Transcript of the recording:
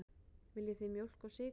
Viljið þið mjólk og sykur?